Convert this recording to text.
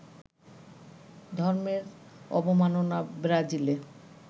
ধর্মের অবমাননা ব্রাজিলে